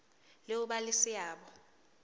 le ho ba le seabo